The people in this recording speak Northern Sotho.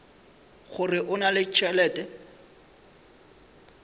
gore o na le tšhelete